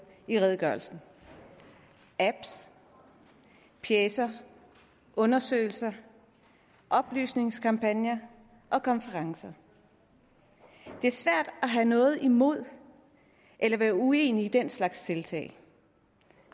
i redegørelsen apps pjecer undersøgelser oplysningskampagner og konferencer det er svært at have noget imod eller være uenig i den slags tiltag